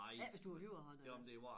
Ikke hvis du er højrehåndet